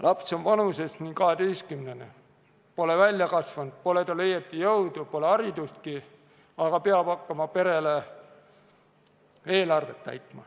Laps on umbes kaheteistkümnene, pole veel suureks kasvanud, pole tal õieti jõudu, pole haridustki, aga juba peab ta hakkama pere eelarvet täitma.